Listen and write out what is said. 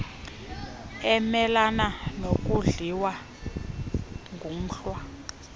emelana nokudliwa ngumhlwa